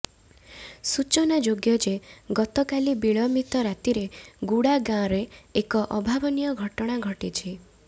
ସୂଚନାଯୋଗ୍ୟ ଯେ ଗତକାଲି ବିଳମ୍ବିତ ରାତିରେ ଗୁଡା ଗାଁରେ ଏକ ଅଭାବନୀୟ ଘଟଣା ଘଟିଛି